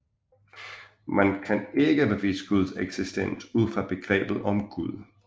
Man kan ikke bevise Guds eksistens ud fra begrebet om Gud